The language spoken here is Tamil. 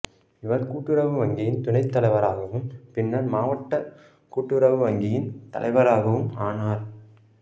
இவர் கூட்டுறவு வங்கியின் துணைத் தலைவராகவும் பின்னர் மாவட்ட கூட்டுறவு வங்கியின் தலைவராகவும் ஆனார்